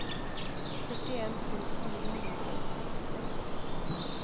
førtien tusen ni hundre og syttiseks